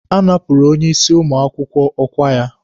A napụrụ onye isi ụmụ akwụkwọ ọkwa ya.